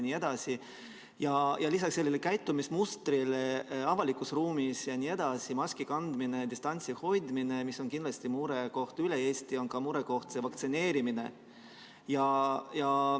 Lisaks avalikus ruumis käitumise mustrile – vähene maski kandmine ja distantsi hoidmine, mis on kindlasti murekoht kogu Eestis – on murekoht ka vaktsineerimine.